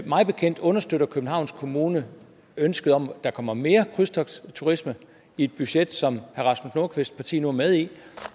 mig bekendt understøtter københavns kommune ønsket om at der kommer mere krydstogtsturisme i et budget som herre rasmus nordqvists parti nu er med i